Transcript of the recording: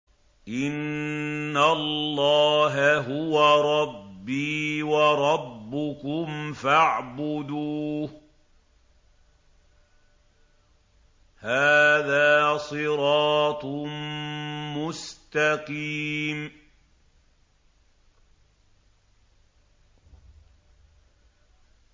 إِنَّ اللَّهَ هُوَ رَبِّي وَرَبُّكُمْ فَاعْبُدُوهُ ۚ هَٰذَا صِرَاطٌ مُّسْتَقِيمٌ